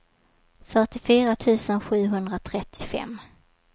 fyrtiofyra tusen sjuhundratrettiofem